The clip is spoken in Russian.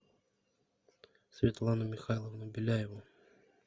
светлану михайловну беляеву